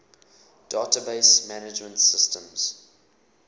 database management systems